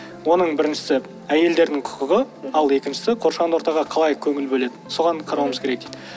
оның біріншісі әйелдердің құқығы ал екіншісі қоршаған ортаға қалай көңіл бөледі соған қарауымыз керек дейді